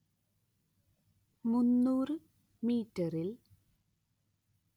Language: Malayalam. മുന്നൂറ്‌ മീറ്ററിൽ